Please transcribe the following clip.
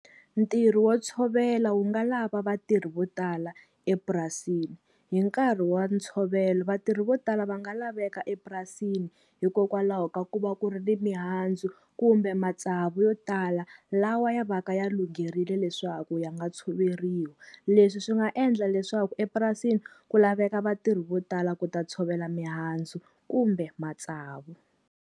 Ntirho wo tshovela wu nga lava vatirhi vo tala epurasini. Hi nkarhi wa ntshovelo vatirhi vo tala va nga laveka epurasini hikokwalaho ka ku va ku ri ni mihandzu kumbe matsavu yo tala, lawa ya va ka ya lungherile leswaku ya nga tshoveriwi. Leswi swi nga endla leswaku epurasini ku laveka vatirhi vo tala ku ta tshovela mihandzu kumbe matsavu.